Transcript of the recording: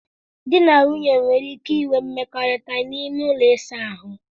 Dị na nwaanyị nwere ike inwe mmekọrịta n'ime ụlọ ịsa ahụ.